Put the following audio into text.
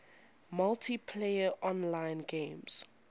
multiplayer online games